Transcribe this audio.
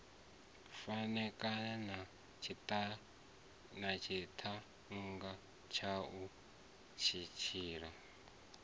farekana na tshiṱhannga tshaṋu hetshiḽa